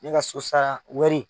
Ne ka sosara wari.